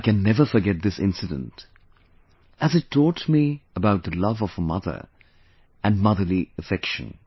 I can never forget this incident as it taught me about the love of a mother and motherly affections